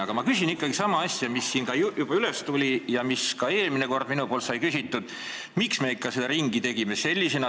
Aga ma küsin ikkagi sama küsimuse, mis siin juba üles kerkis ja mida ma ka eelmine kord küsisin: miks me ikka selle ringi tegime?